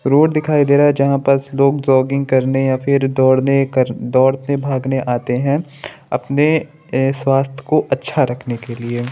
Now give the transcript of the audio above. Road दिखाई दे रहा है जहाँ पर लोग जॉगिंग करने या फिर दोड़ने कर दोड़ते भागने आते है अपने अ स्वस्थ को अच्छा रखने के लिए।